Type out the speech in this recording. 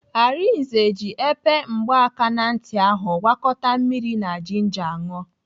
Arinze ji epe mgbakantị ahụ gwakọta mmiri na jinja ṅụọ.